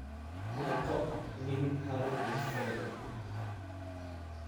Noqo nin hadal iyo ficil leh.